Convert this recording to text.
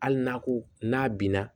Hali n'a ko n'a binna